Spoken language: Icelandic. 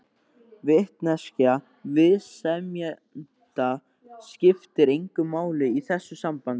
Vitneskja viðsemjenda skiptir engu máli í þessu sambandi.